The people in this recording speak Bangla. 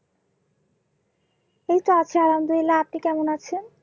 এইতো আছি আল্লাহামদুল্লিলাহ আপনি কেমন আছেন?